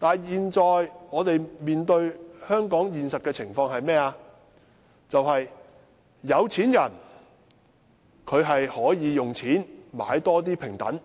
然而，我們現在面對香港的現實情況卻是，有錢人可以用錢買更多平等，